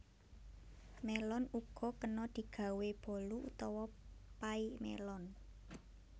Mélon uga kena digawé bolu utawa pay mélon